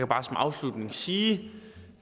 bare som afslutning sige